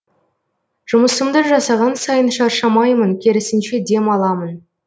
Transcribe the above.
жұмысымды жасаған сайын шаршамаймын керісінше демаламын